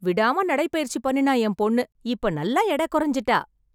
விடாம நடை பயிற்சி பண்ணினா என் பொண்ணு, இப்ப நல்லா எடை குறைஞ்சுட்டா.